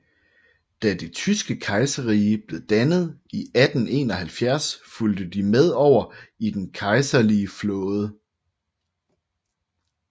Da det tyske kejserrige blev dannet i 1871 fulgte de med over i den kejserlige flåde